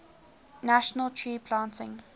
national tree planting